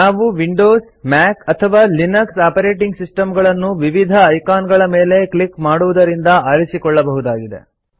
ನಾವು Windows Mac ಅಥವಾ Linux operating ಸಿಸ್ಟಂಗಳನ್ನು ವಿವಿಧ ಐಕಾನ್ಗಳ ಮೇಲೆ ಕ್ಲಿಕ್ ಮಾಡುವುದರಿಂದ ಆರಿಸಿಕೊಳ್ಳಬಹುದಾಗಿದೆ